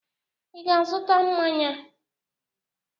Ị ga azụta mmanya?